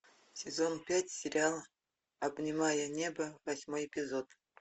сезон пять сериала обнимая небо восьмой эпизод